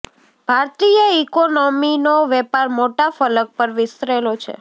ભારતીય ઇકોનોમીનો વેપાર મોટા ફલક પર વિસ્તરેલો છે